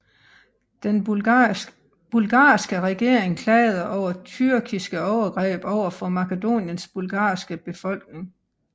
Den bulgarske regering klagede over tyrkiske overgreb over for Makedoniens bulgarske befolkning